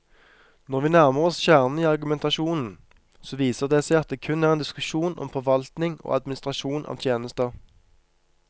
Når vi nærmer oss kjernen i argumentasjonen, så viser det seg at det kun er en diskusjon om forvaltning og administrasjon av tjenester.